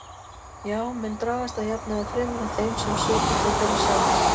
Já, menn dragast að jafnaði fremur að þeim sem svipar til þeirra sjálfra.